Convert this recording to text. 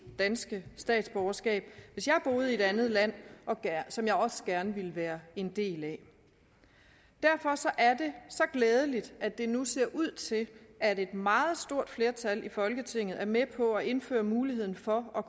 danske statsborgerskab hvis jeg boede i et andet land som jeg også gerne ville være en del af derfor er det så glædeligt at det nu ser ud til at et meget stort flertal i folketinget er med på at indføre muligheden for at